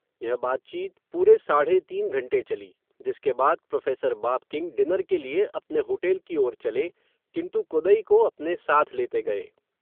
यह बातचीत, पूरे साढ़े तीन घंटे चली, जिसके बाद, प्रोफ़ेसर बाब किंग, डिनर के लिए, अपने होटेल की और चले, किन्तु, कोदई को, अपने साथ लेते गये